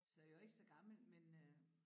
Så jeg var ikke så gammel men øh